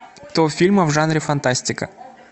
топ фильмов в жанре фантастика